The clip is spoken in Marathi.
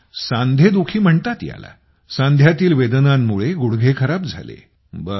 सांधे दुखी म्हणतात याला सांध्यातील वेदनांमुळे गुडघे खराब झाले